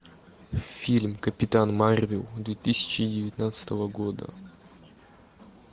фильм капитан марвел две тысячи девятнадцатого года